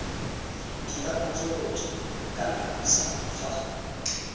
dira dipotsolotso kana puisano fa